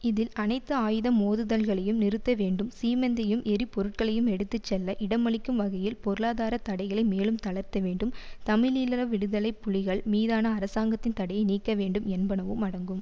இதில் அனைத்து ஆயுத மோதுதல்களையும் நிறுத்த வேண்டும் சீமெந்தையும் எரி பொருட்களையும் எடுத்து செல்ல இடமளிக்கும் வகையில் பொருளாதார தடைகளை மேலும் தளர்த்த வேண்டும் தமிழீழ விடுதலை புலிகள் மீதான அரசாங்கத்தின் தடையை நீக்க வேண்டும் என்பனவும் அடங்கும்